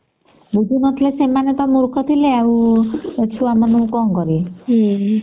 ବୁଝୁ ନଥିଲେ ସେମାନେ ତା ମୂର୍ଖ ଥିଲେ ଆଉ ଛୁଆ ମାନଙ୍କୁ କଣ କରିବେ